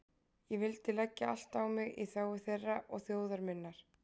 Ég vildi leggja allt á mig í þágu þeirra og þjóðar minnar.